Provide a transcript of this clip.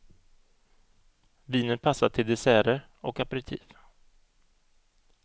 Vinet passar till desserter och aperitif.